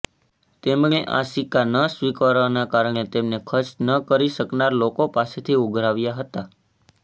તેમણે આ સિક્કા ન સ્વીકારવાના કારણે તેમને ખર્ચ ન કરી શકનાર લોકો પાસેથી ઉઘરાવ્યા હતા